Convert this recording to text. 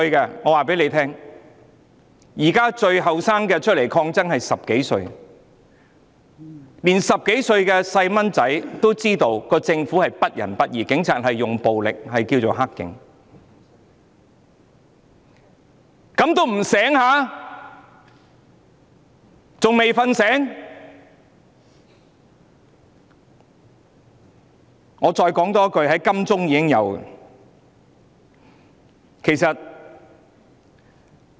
現時最年輕的上街抗爭者只有10多歲，連10多歲的小孩也知道政府不仁不義，使用暴力的警察是"黑警"，怎麼他們還不甦醒過來？